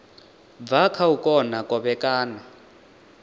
bva kha u kona kovhekana